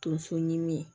Tunso ɲimin